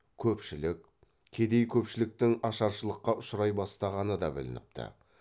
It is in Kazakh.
көпшілік кедей көпшіліктің ашаршылыққа ұшырай бастағаны да білініпті